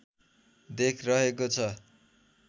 देख रहेको छ